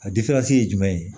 A ye jumɛn ye